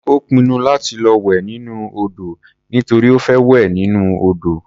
Ó pinnu láti lọ wẹ̀ nínú odò nítorí ó fẹ́ wẹ̀ nínú odò.